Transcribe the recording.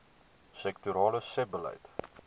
sektorale sebbeleid